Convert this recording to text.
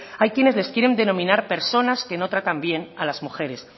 hay quienes les quiere denominar personas que no tratan bien a las mujeres